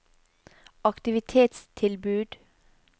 aktivitetstilbud